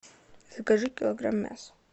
закажи килограмм мяса